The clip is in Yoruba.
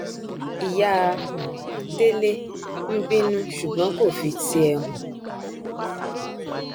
ìyá um délé ń bínú ṣùgbọn kò fi tiẹ hàn